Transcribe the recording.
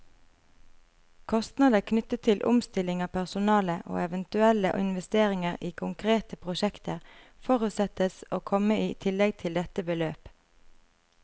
Kostnader knyttet til omstilling av personale, og eventuelle investeringer i konkrete prosjekter, forutsettes å komme i tillegg til dette beløp.